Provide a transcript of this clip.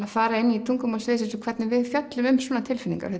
að fara inn í tungumál sviðsins hvernig við fjöllum um svona tilfinningar